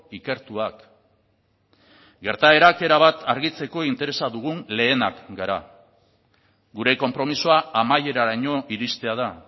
ikertuak gertaerak erabat argitzeko interesa dugun lehenak gara gure konpromisoa amaieraraino iristea da